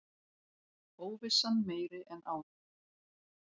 Óvissan meiri en áður